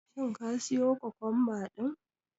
Shin ka siyo kokomba din?